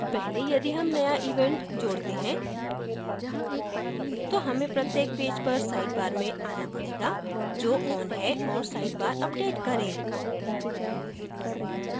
पहले यदि हम नया event जोड़ते हैं तो हमें प्रत्येक पेज पर sidebar में आना पडेगा जो on है और sidebar अपडेट करें